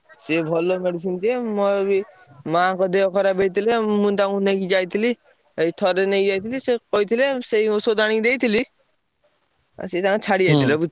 ସିଏ ଭଲ medicine ଦିଏ ମୋର ବି ମାଆଙ୍କ ଦେହ ଖରାପ ହେଇଥିଲା। ମୁଁ ତାଙ୍କୁ ନେଇକି ଯାଇଥିଲି, ଏଇ ଥରେ ନେଇକି ଯାଇଥିଲି ସେ କହିଥିଲେ ସେଇ ଔଷଧ ଆଣି ଦେଇଥିଲି। ଆଉ ସିଏ ତାଙ୍କର ଛାଡି ଯାଇଥିଲା ବୁଝ~,